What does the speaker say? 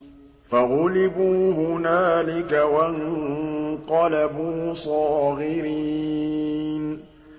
فَغُلِبُوا هُنَالِكَ وَانقَلَبُوا صَاغِرِينَ